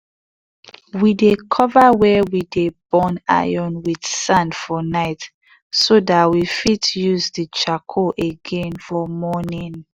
we dey cover wey we de burn iron with sand for night so dat we fit use d charcoal again for morning.